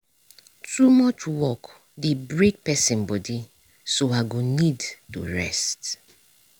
too much work dey break pesin body so i go need to rest.